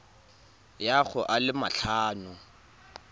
ya go a le matlhano